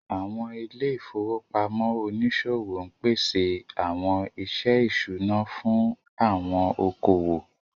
Àwọn ilé ìfowópamọ́ oníṣòwò ń pèsè àwọn iṣẹ́ ìṣúná fún àwọn okòwò